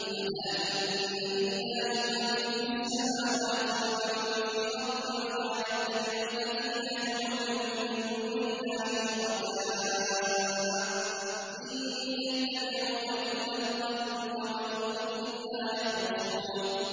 أَلَا إِنَّ لِلَّهِ مَن فِي السَّمَاوَاتِ وَمَن فِي الْأَرْضِ ۗ وَمَا يَتَّبِعُ الَّذِينَ يَدْعُونَ مِن دُونِ اللَّهِ شُرَكَاءَ ۚ إِن يَتَّبِعُونَ إِلَّا الظَّنَّ وَإِنْ هُمْ إِلَّا يَخْرُصُونَ